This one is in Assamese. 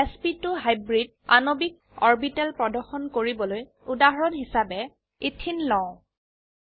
এছপি2 হাইব্ৰিড আণবিক অৰবিটেল প্ৰদৰ্শন কৰিবলৈ উদাহৰণ হিসাবে ইথিন লও